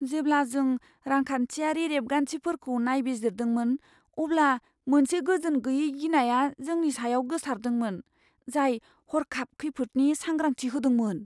जेब्ला जों रांखान्थियारि रेबगान्थिफोरखौ नायबिजिरदोंमोन, अब्ला मोनसे गोजोनगैयै गिनाया जोंनि सायाव गोसारदोंमोन, जाय हर्खाब खैफोदनि सांग्रांथि होदोंमोन।